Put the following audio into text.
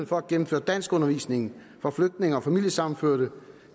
for at gennemføre danskundervisning for flygtninge og familiesammenførte